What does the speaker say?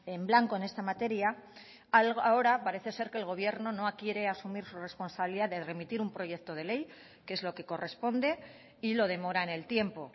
en blanco en esta materia ahora parece ser que el gobierno no quiere asumir su responsabilidad de remitir un proyecto de ley que es lo que corresponde y lo demora en el tiempo